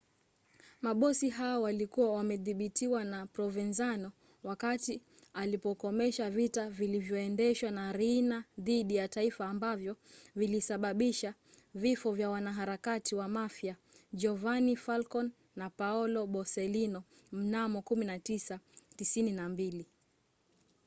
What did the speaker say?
mabosi hawa walikuwa wamedhibitiwa na provenzano wakati alipokomesha vita vilivyoendeshwa na riina dhidi ya taifa ambavyo vilisababisha vifo vya wanaharakati wa mafia giovanni falcone na paolo borsellino mnamo 1992.